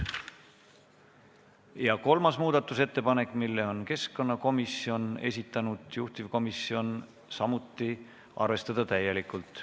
Ja kolmas muudatusettepanek, mille on esitanud keskkonnakomisjon, juhtivkomisjon samuti: arvestada täielikult.